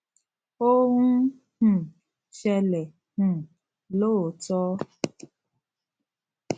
ó ń um ṣẹlè um lóòótó